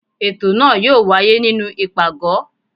ètò náà yóò wáyé nínú ipágọ